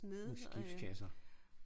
Skibskasser